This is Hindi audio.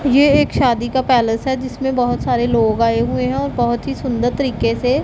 ये एक शादी का पैलेस है जिसमें बहोत सारे लोग आए हुए हैं और बहोत ही सुंदर तरीके से--